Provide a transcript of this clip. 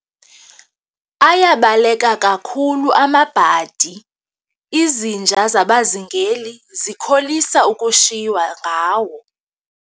Ayabaleka kakhulu amabhadi, izinja zabazingeli zikholisa ukushiywa ngawo.